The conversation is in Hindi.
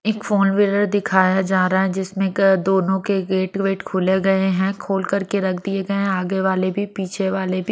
एक फोन व्हीलर दिखाया जा रहा है जिसमें दोनों के गेट वेट खोले गए हैं खोल करके रख दिए गए हैं आगे वाले भी पीछे वाले भी--